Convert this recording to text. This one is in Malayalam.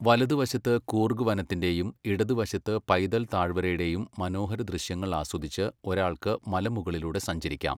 വലത് വശത്ത് കൂർഗ് വനത്തിന്റെയും ഇടതുവശത്ത് പൈതൽ താഴ്വരയുടെയും മനോഹര ദൃശ്യങ്ങൾ ആസ്വദിച്ച് ഒരാൾക്ക് മലമുകളിലൂടെ സഞ്ചരിക്കാം.